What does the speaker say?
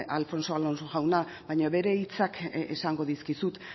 alfonso alonso jauna baina bere hitzak esango dizkizut